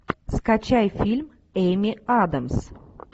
скачай фильм эми адамс